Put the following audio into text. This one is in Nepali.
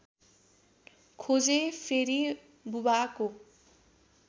खोजेँ फेरि बुबाको